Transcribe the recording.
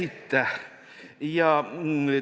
Aitäh!